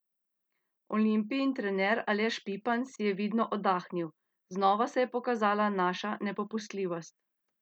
Olimpijin trener Aleš Pipan si je vidno oddahnil: "Znova se je pokazala naša nepopustljivost.